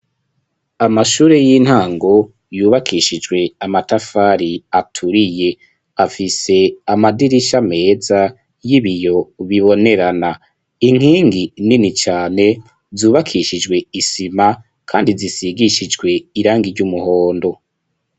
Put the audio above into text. Amashure y'intango yubakishijwe amatafari aturiye afise amadirisha meza y'ibiyo bibonerana inkingi nini cane zubakishijwe isima kandi zisigishijwe irangi ry'umuhondo.